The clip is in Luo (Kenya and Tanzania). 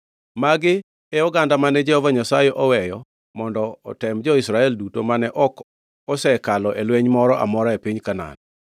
Magi e oganda mane Jehova Nyasaye oweyo mondo otem jo-Israel duto mane ok osekalo e lweny moro amora e piny Kanaan.